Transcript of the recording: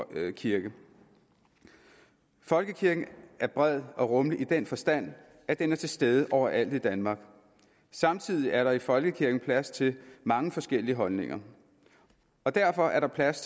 kirke folkekirken er bred og rummelig i den forstand at den er til stede overalt i danmark og samtidig er der i folkekirken plads til mange forskellige holdninger derfor er der plads